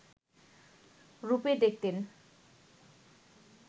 রূপে দেখতেন